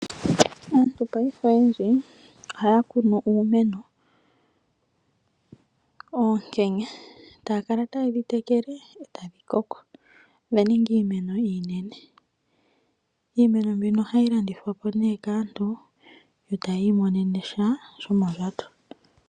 Aantu ngashingeyi oyendji ohaya kunu oonkenya etaya kala taye dhi tekele etadhi koko dhaninga iimeno iinene . Iimeno mbino ohayi landithwa po ne kaantu yo taya imonene sha shomondjato.